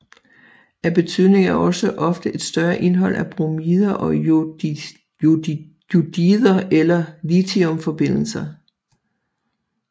Af betydning er også ofte et større indhold af bromider og jodider eller af lithiumforbindelser